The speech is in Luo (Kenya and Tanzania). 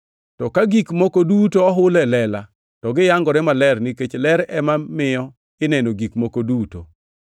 To ka gik moko duto ohul e lela to gi yangore maler nikech ler ema miyo ineno gik moko duto.